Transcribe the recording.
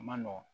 A man nɔgɔn